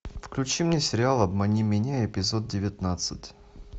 включи мне сериал обмани меня эпизод девятнадцать